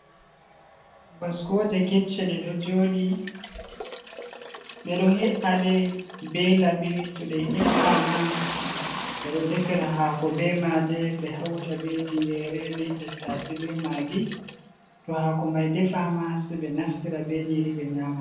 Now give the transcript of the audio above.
Baskoje kecche ɗe ɗo joɗi, ɓeɗo he’aɗe be labi, to ɗe he’a ma ɓeɗo defira hako be maje ɓe hauta be tingere, be tattasai, be magi, to hako mai defa ma se ɓe naftira be nyiri ɓe nyama.